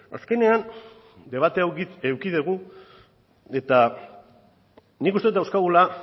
azkenean debate hau eduki dugu eta nik uste dut dauzkagula